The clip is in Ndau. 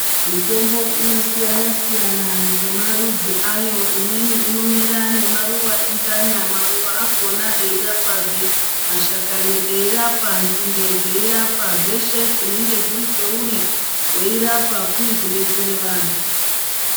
Mitombo inosiyana-siyana ngemarudzi ayo. Imweni inomera nemaruwa enzanya, maruwa akhona eirapazve. Mashakani eirapa, nzinde dzeirapa, zveshe zvinenge zviri peuri ,weirapa kuri kudetsere vantu.